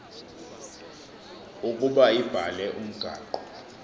ukuba ibhale umgaqo